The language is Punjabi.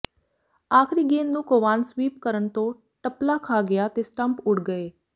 ਆਖਰੀ ਗੇਂਦ ਨੂੰ ਕੋਵਾਨ ਸਵੀਪ ਕਰਨ ਤੋਂ ਟਪਲਾ ਖਾ ਗਿਆ ਤੇ ਸਟੰਪ ਉਡ ਗਏ